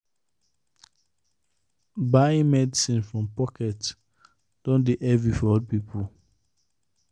buying medicine from pocket don dey heavy for old people.